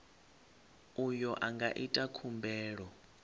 uyo a nga ita khumbelo